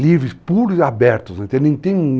Livres, puros e abertos, então não tem,